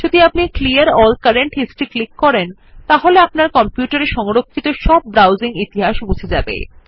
যদি আপনি clear all current history click করেন তাহলে আপনার কম্পিউটারে সংরক্ষিত সব ব্রাউজিং ইতিহাস মুছে যাবে